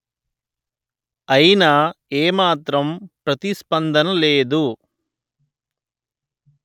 అయినా ఏ మాత్రం ప్రతిస్పందన రాలేదు